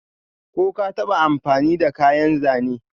Ko ka taba amfani da kayan Zane?